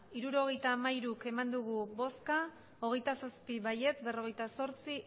hirurogeita hamairu bai hogeita zazpi ez berrogeita zortzi